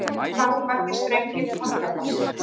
Hvað eru margir strengir í kontrabassa?